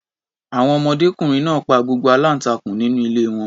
Àwọn ọmọdékùnrin náà pa gbogbo aláǹtakùn nínú ilé wọn.